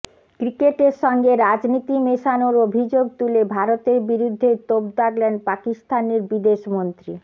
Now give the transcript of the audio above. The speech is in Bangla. ক্রিকেটের সঙ্গে রাজনীতি মেশানোর অভিযোগ তুলে ভারতের বিরুদ্ধে তোপ দাগলেন পাকিস্তানের বিদেশমন্ত্রী